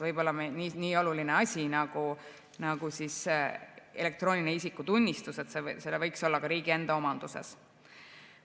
Võib-olla võiks nii oluline asi nagu elektrooniline isikutunnistus olla riigi enda omanduses.